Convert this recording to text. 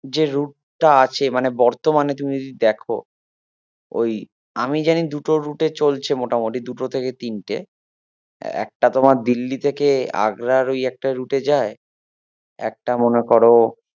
যে route টা আছে মানে বর্তমানে তুমি যদি দেখো ওই আমি জানি দুটো route এ চলছে মোটামোটি দুটো থেকে তিনটে একটা তোমার দিল্লি থেকে আগ্রার ওই একটা route এ যায় একটা মনে করো